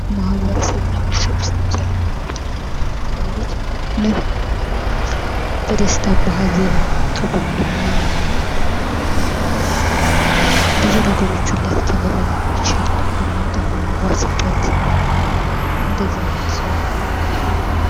ማህበረሰብ እና ቤተሰብ ውስጥ ለምሳሌ ጎረቤት አለ። ጎረቤት ማለት በደስታም በሀዘንም ከጎን የሚሆንና ብዙ ነገሮችን ሊያስተምረን የሚችልና ብናጣ የምንዋስበት እንደዛ አይነት ሰው ነው።